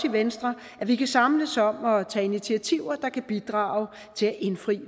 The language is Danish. i venstre at vi kan samles om at tage initiativer der kan bidrage til at indfri